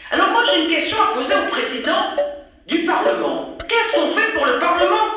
à domicile. Alors moi, j'ai une question à poser au Président du Parlement qu'est ce qu'on fait pour le